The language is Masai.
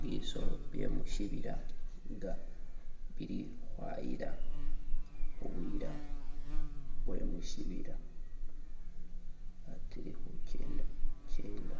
Bisolo bye musibila nga bili khayila, buyila bwe musibila bwatsile khukenda kyenda